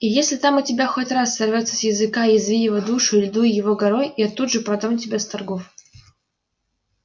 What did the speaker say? и если там у тебя хоть раз сорвётся с языка язви его душу или дуй его горой я тут же продам тебя с торгов